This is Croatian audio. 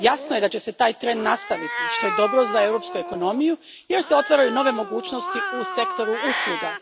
Jasno je da će se taj trend nastaviti, što je dobro za europsku ekonomiju, jer se otvaraju nove mogućnosti u sektoru usluga.